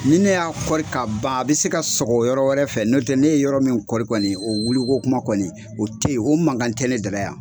ni ne y'a kɔri ka ban a bɛ se ka sɔgɔ yɔrɔ wɛrɛ fɛ nɔntɛ ne ye yɔrɔ min kɔri kɔni o wuli ko kuma kɔni o te ye, o mankan tɛ ne da la yan.